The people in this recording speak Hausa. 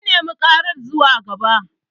Mun nema ɗaga ƙaran zuwa gaba.